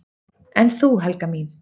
"""En þú, Helga mín?"""